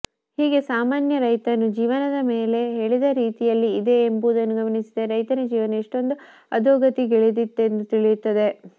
ಹೀಗೆ ಸಾಮಾನ್ಯ ರೈತನು ಜೀವನ ಮೇಲೆ ಹೇಳಿದ ರೀತಿಯಲ್ಲಿ ಇದೆ ಎಂಬುದನ್ನು ಗಮನಿಸಿದರೆ ರೈತನ ಜೀವನ ಎಷ್ಟೊಂದು ಅಧೋಗತಿಗಿಳಿದಿತ್ತೆಂದು ತಿಳಿಯುತ್ತದೆ